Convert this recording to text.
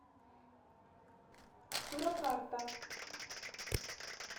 суракарта